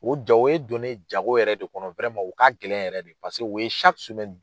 O ye ja o ye donnen ye jago yɛrɛ de kɔnɔ o ka gɛlɛn yɛrɛ de paseke o ye